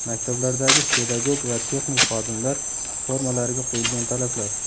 Maktablardagi pedagog va texnik xodimlar formalariga qo‘yilgan talablar.